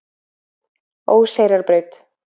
Óseyrarbraut